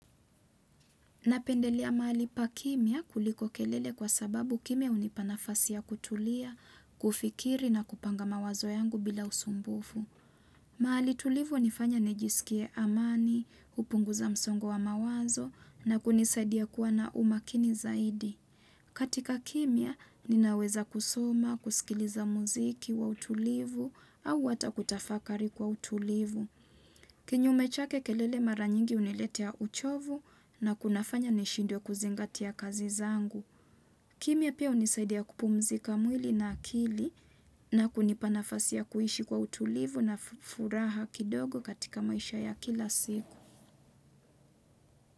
Napendelea mahali pa kimya kuliko kelele kwa sababu kimya hunipanafasi ya kutulia, kufikiri na kupanga mawazo yangu bila usumbufu. Mahali tulivu hunifanya nijisikie amani, hupunguza msongo wa mawazo na kunisadia kuwa na umakini zaidi. Katika kimya, ninaweza kusoma, kusikiliza muziki wa utulivu au hata kutafakari kwa utulivu. Kinyume chake kelele maranyingi huniletea uchovu na kunafanya nishindwe kuzingatia kazi zangu. Kimya pia hunisaidia kupumzika mwili na akili na kunipa nafasi ya kuishi kwa utulivu na furaha kidogo katika maisha ya kila siku.